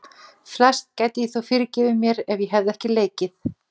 Flest gæti ég þó fyrirgefið mér, ef ég hefði ekki leikið